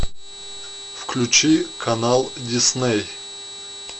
включи канал дисней